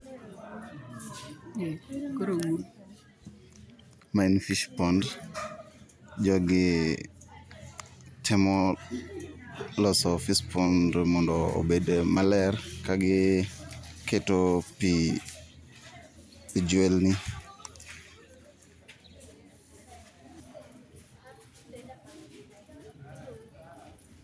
Mae en fish pond, jogi temo loso fish pond mondo obed maler kagi keto pii e jwelni.